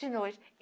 De noite.